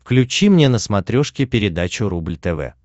включи мне на смотрешке передачу рубль тв